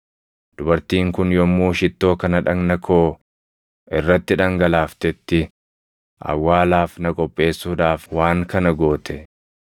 Dubartiin kun yommuu shittoo kana dhagna koo irrati dhangalaaftetti awwaalaaf na qopheessuudhaaf waan kana goote.